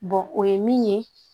o ye min ye